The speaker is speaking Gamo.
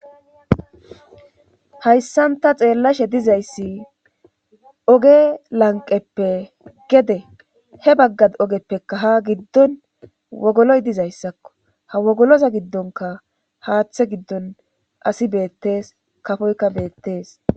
Hayssan ta xeellashe dizayssi oge lanqeppe gede he baggad ogeppeka ha giddon wogoloy dizayssakko ha wogoloza giddonka haaththe giddon asi beettees kafoyka beettees